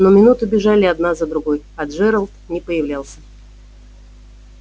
но минуты бежали одна за другой а джералд не появлялся